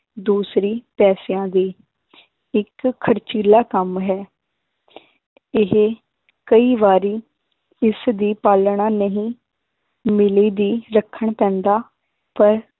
ਦੂਸਰੀ ਪੈਸਿਆਂ ਦੀ ਇੱਕ ਖ਼ਰਚੀਲਾ ਕੰਮ ਹੈ ਇਹ ਕਈ ਵਾਰੀ ਇਸਦੀ ਪਾਲਣਾ ਨਹੀਂ ਮਿਲਦੀ ਰੱਖਣ ਪੈਂਦਾ ਪਰ